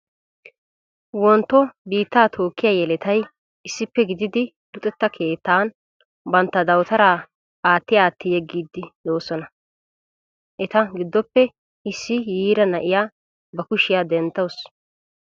Wontto biittaa tookkiya yeletay issippe gididi luxetta keettan bantta dawutaraa aatti aatti yeggidosona. Eta giddoppe issi yiira na'iya ba kushiya denttaasu.